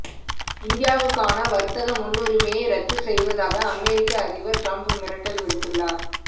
இந்தியாவுக்கான வர்த்தக முன்னுரிமையை ரத்து செய்வதாக அமெரிக்க அதிபர் டிரம்ப் மிரட்டல் விடுத்துள்ளார்